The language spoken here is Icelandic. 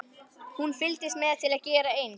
Hún fylgdist með til að gera eins.